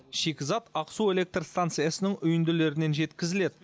шикізат ақсу электр станциясының үйінділерінен жеткізіледі